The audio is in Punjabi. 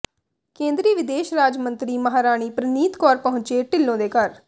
ਕੇਂਦਰੀ ਵਿਦੇਸ਼ ਰਾਜ ਮੰਤਰੀ ਮਾਹਾਰਾਣੀ ਪ੍ਰਨੀਤ ਕੌਰ ਪਹੁੰਚੇ ਢਿੱਲੋਂ ਦੇ ਘਰ